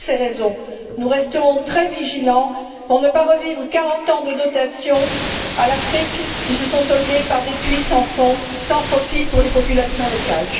Pour toutes ces raisons, nous resterons très vigilants pour ne pas revivre 40 ans de dotation à l'Afrique qui se sont soldés par des puits sans fond, sans profit pour les populations locales.